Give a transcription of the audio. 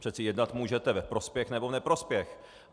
Přece jednat můžete ve prospěch nebo v neprospěch.